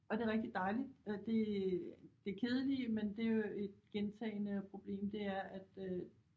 Og det rigtigt dejligt og det det kedelige men det jo et gentagende problem det er at øh